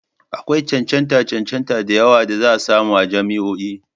Akwai cancantar cancanta da yawa da za a samu a jami'o'i.